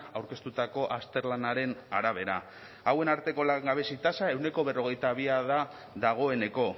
aurkeztutako azterlanaren arabera hauen arteko langabezi tasa ehuneko berrogeita bi da dagoeneko